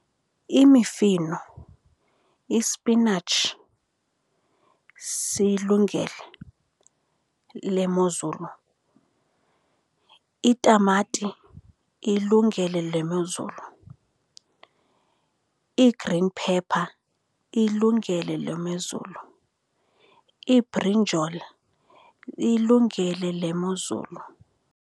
Imifino ispinatshi siyilungele le mozulu, itamati iyilungele le mozulu. Ii-green pepper iyilungele le mezulu, iibrinjol iyilungele le mozulu.